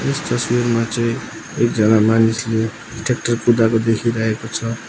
यस तस्वीरमा चाहिँ एकजना मानिसले ट्रयाक्टर कुदाको देखिरहेको छ।